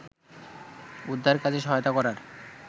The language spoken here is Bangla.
উদ্ধারকাজে সহায়তা করার